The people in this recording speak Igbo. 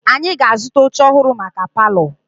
Anyị ga-azụta oche ọhụrụ maka palọ.